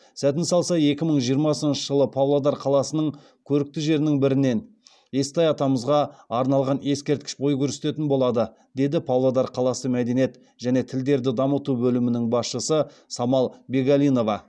сәтін салса екі мың жиырмасыншы жылы павлодар қаласының көрікті жерінің бірінен естай атамызға арналған ескерткіш бой көтеретін болады деді павлодар қаласы мәдениет және тілдерді дамыту бөлімінің басшысы самал бегалинова